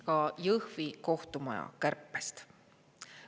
Ka Jõhvi kohtumaja kärpest.